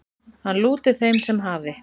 Hann lúti þeim sem hafi